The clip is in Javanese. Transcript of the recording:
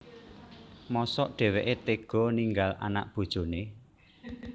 Mosok dhèwèké téga ninggal anak bojoné